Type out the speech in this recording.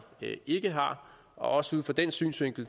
ikke har og også ud fra den synsvinkel